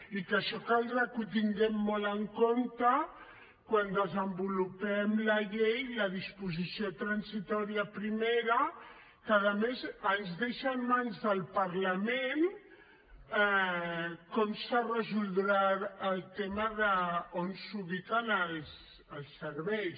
i que això caldrà que ho tinguem molt en compte quan desenvolupem la llei la disposició transitòria primera que a més ens deixa en mans del parlament com se resoldrà el tema d’on s’ubiquen els serveis